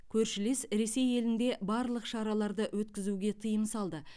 көршілес ресей елінде барлық шараларды өткізуге тыйым салды